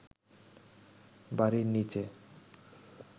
বাড়ির নীচে